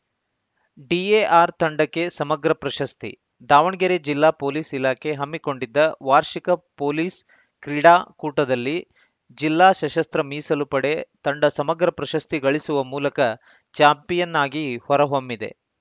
DAR ತಂಡಕ್ಕೆ ಸಮಗ್ರ ಪ್ರಶಸ್ತಿ ದಾವಣಗೆರೆ ಜಿಲ್ಲಾ ಪೊಲೀಸ್‌ ಇಲಾಖೆ ಹಮ್ಮಿಕೊಂಡಿದ್ದ ವಾರ್ಷಿಕ ಪೊಲೀಸ್‌ ಕ್ರೀಡಾಕೂಟದಲ್ಲಿ ಜಿಲ್ಲಾ ಸಶಸ್ತ್ರ ಮೀಸಲು ಪಡೆ ತಂಡ ಸಮಗ್ರ ಪ್ರಶಸ್ತಿ ಗಳಿಸುವ ಮೂಲಕ ಚಾಂಪಿಯನ್‌ ಆಗಿ ಹೊರ ಹೊಮ್ಮಿದೆ